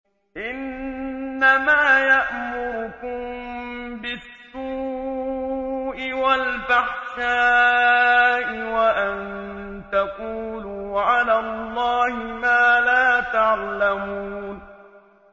إِنَّمَا يَأْمُرُكُم بِالسُّوءِ وَالْفَحْشَاءِ وَأَن تَقُولُوا عَلَى اللَّهِ مَا لَا تَعْلَمُونَ